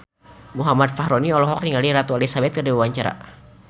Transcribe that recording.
Muhammad Fachroni olohok ningali Ratu Elizabeth keur diwawancara